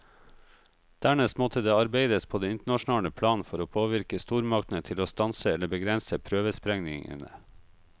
Dernest måtte det arbeides på det internasjonale plan for å påvirke stormaktene til å stanse eller begrense prøvesprengningene.